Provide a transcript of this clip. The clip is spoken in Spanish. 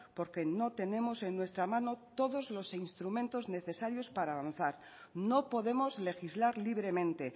porque no tenemos en nuestra mano todos los instrumentos necesarios para avanzar no podemos legislar libremente